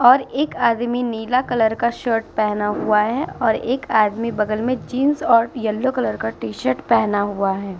और एक आदमी नीला कलर का शर्ट पहना हुआ है और एक आदमी बगल में जीन्स और येलो कलर का टी-शर्ट पहना हुआ है।